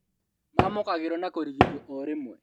Maamũkagĩrwo na kũrigitwo o rĩmwe